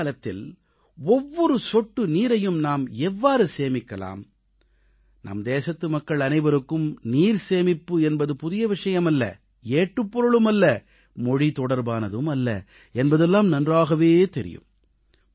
மழைக்காலத்தில் ஒவ்வொரு சொட்டு நீரையும் நாம் எவ்வாறு சேமிக்கலாம் நம் தேசத்து மக்கள் அனைவருக்கும் நீர் சேமிப்பு என்பது புதிய விஷயம் அல்ல ஏட்டுப் பொருளுமல்ல மொழி தொடர்பானதும் அல்ல என்பதெல்லாம் நன்றாகவே தெரியும்